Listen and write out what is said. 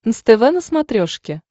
нств на смотрешке